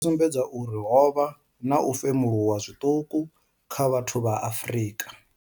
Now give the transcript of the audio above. yo sumbedza uri ho vha na u femuluwa zwiṱuku kha vhathu vha Afrika.